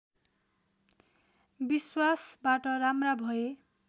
विश्वासबाट राम्रा भए